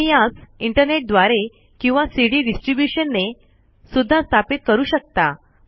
तुम्ही यास इंटरनेट द्वारे किंवा सी ड़ी ड़िस्ट्रिब्यूशन ने सुद्धा स्थापित करू शकता